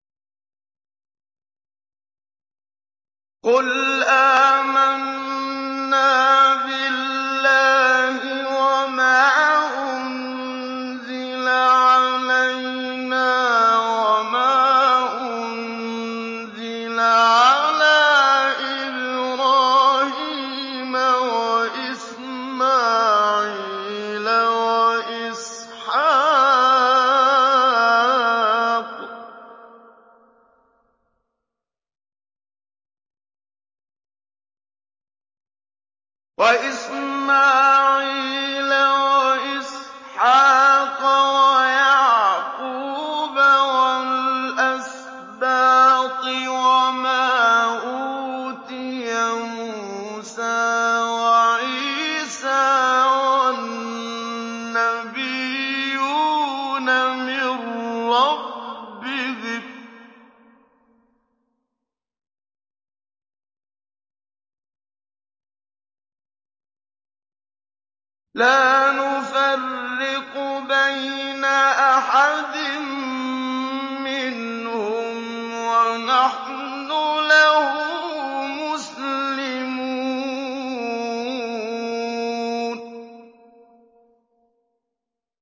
قُلْ آمَنَّا بِاللَّهِ وَمَا أُنزِلَ عَلَيْنَا وَمَا أُنزِلَ عَلَىٰ إِبْرَاهِيمَ وَإِسْمَاعِيلَ وَإِسْحَاقَ وَيَعْقُوبَ وَالْأَسْبَاطِ وَمَا أُوتِيَ مُوسَىٰ وَعِيسَىٰ وَالنَّبِيُّونَ مِن رَّبِّهِمْ لَا نُفَرِّقُ بَيْنَ أَحَدٍ مِّنْهُمْ وَنَحْنُ لَهُ مُسْلِمُونَ